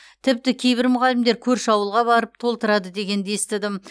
тіпті кейбір мұғалімдер көрші ауылға барып толтырады дегенді естідім